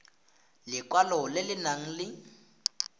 lekwalo le le nang le